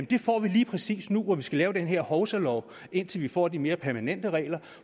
det får vi lige præcis nu hvor vi skal lave den hovsalov indtil vi får de mere permanente regler